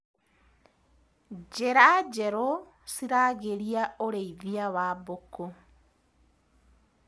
Njĩra njerũ ciragĩria ũrĩithia wa mbũkũ.